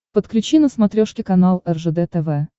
подключи на смотрешке канал ржд тв